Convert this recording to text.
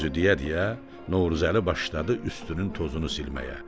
Bu sözü deyə-deyə Novruzəli başladı üstünün tozunu silməyə.